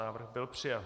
Návrh byl přijat.